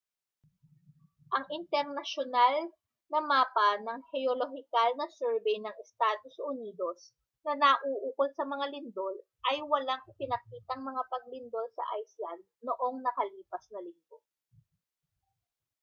ang internasyonal na mapa ng heolohikal na surbey ng estados unidos na nauukol sa mga lindol ay walang ipinakitang mga paglindol sa iceland noong nakalipas na linggo